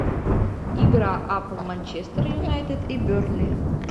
игра апл манчестер юнайтед и бернли